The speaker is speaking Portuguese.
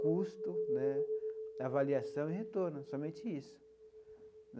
custo né, avaliação e retorno, somente isso.